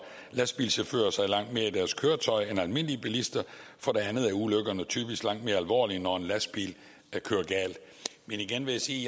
lastbilchauffører sig langt mere i deres køretøj end almindelige bilister for det andet er ulykkerne typisk langt mere alvorlige når en lastbil kører galt men igen vil jeg sige